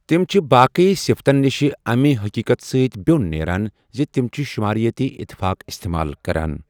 تِم چھِ باقی صِفتَن نِشہِ امہِ حٔقیٖقتہٕ سۭتہِ بیون نیران زِ تِم چھِ شُماریٲتی اتفاق استعمال کران۔